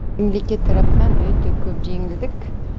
мемлекет тарапынан өте көп жеңілдік